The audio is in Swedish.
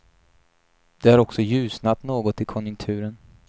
Det har också ljusnat något i konjunkturen.